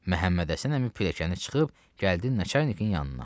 Məhəmmədhəsən əmi pilləyəni çıxıb gəldi Nəçərnikin yanına.